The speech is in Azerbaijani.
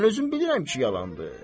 Mən özüm bilirəm ki, yalandır.